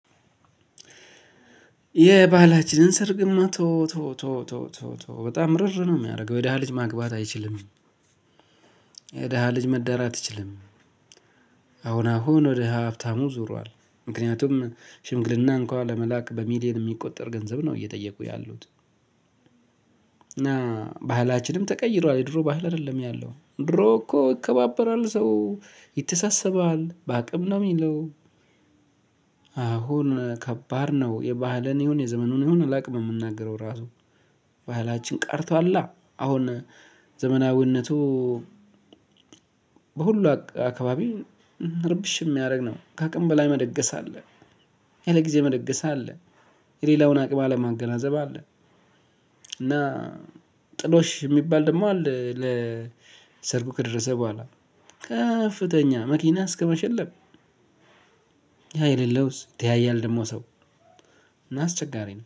የባህላችንን ሰርግማ ተወው ተወው ተወው ተወው ተወው ተወው በጣም ርር ነው የሚያረግ የደሃ ልጅ ማግባት አይችልም። የደሃ ልጅ መዳር አትችልም። አሁን አሁን ወደ ሀብታሙ ዙሯል ምክንያቱም ሽምግልና እንኳን ለመላክ በሚሊየን የሚቆጠር ገንዘብ ነው እየጠየቁ ያሉት። እና ባህላችንም ተቀይሯል የድሮ ባህል አይደለም ያለው ድሮ እኮ ይከባበራል ሰው ይተሳሰባል በአቅም ነው ሚለው። አሁን ከባድ ነው የባህልን ይሁን የዘመኑን ይሁን አላውቅም የምናገረው ራሱ። ባህላችን ቀርቷላ አሁን። ዘመናዊነቱ። በሁሉ አካባቢ እርብሽ የሚያደርግ ነው። ከአቅም በላይ መደገስ አለ። ያለ ጊዜ መደገስ አለ። የሌላውን አቅም አለማገናዘብ አለ። እና ጥሎሽ ሚባል ደሞ አለ። ሰርጉ ከደረሰ በኋላ ከፍተኛ መኪና እስከመሸለም። ያ የሌለውስ ይተያያል ደግሞ ሰው። እና አስቸጋሪ ነው